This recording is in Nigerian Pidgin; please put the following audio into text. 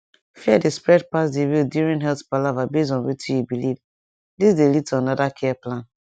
fear dey spread pass the real during health palaver base on wetin you believe this dey lead to another care plan